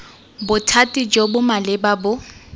bothati jo bo maleba bo